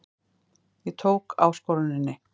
Ég tók áskoruninni.